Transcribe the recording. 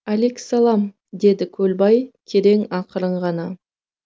әликісалам деді көлбай керең ақырын ғана